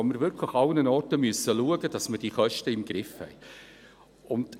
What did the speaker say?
wir müssen wirklich überall schauen, dass wir die Kosten im Griff haben.